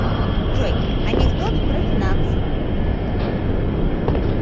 джой анекдот про финансы